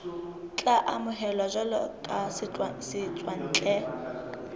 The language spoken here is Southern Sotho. tla amohelwa jwalo ka setswantle